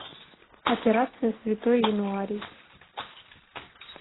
операция святой януарий